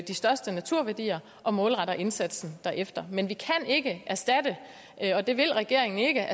de største naturværdier og målretter indsatsen derefter men vi kan ikke erstatte og det vil regeringen ikke